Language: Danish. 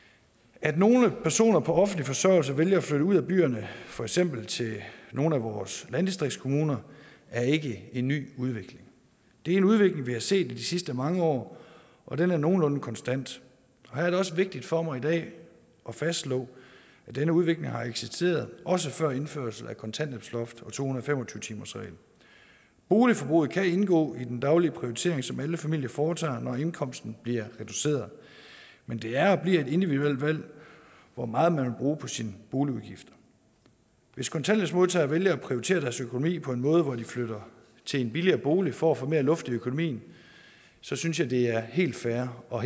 at nogle personer på offentlig forsørgelse vælger at flytte ud af byerne for eksempel til nogle af vores landdistriktskommuner er ikke en ny udvikling det er en udvikling vi har set de sidste mange år og den er nogenlunde konstant her er det også vigtigt for mig i dag at fastslå at denne udvikling har eksisteret også før indførelsen af kontanthjælpsloftet og to hundrede og fem og tyve timersreglen boligforbruget kan indgå i den daglige prioritering som alle familier foretager når indkomsten bliver reduceret men det er og bliver et individuelt valg hvor meget man vil bruge på sin boligudgift hvis kontanthjælpsmodtagere vælger at prioritere deres økonomi på en måde hvor de flytter til en billigere bolig for at få mere luft i økonomien så synes jeg at det er helt fair og